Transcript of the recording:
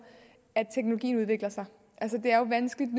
at teknologien udvikler sig det er jo vanskeligt